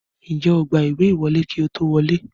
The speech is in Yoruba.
Ǹjẹ́ o gba ìwé ìwọlé kí ó tó wọlé?